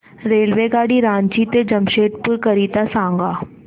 रेल्वेगाडी रांची ते जमशेदपूर करीता सांगा